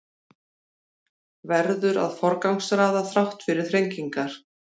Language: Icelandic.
Verður að forgangsraða þrátt fyrir þrengingar